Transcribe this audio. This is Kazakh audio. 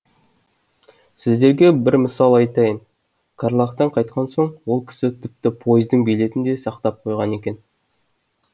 сіздерге бір мысал айтайын карлагтан қайтқан соң ол кісі тіпті пойыздың билетін де сақтап қойған екен